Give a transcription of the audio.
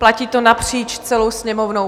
Platí to napříč celou Sněmovnou.